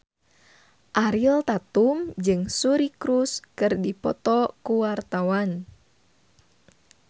Ariel Tatum jeung Suri Cruise keur dipoto ku wartawan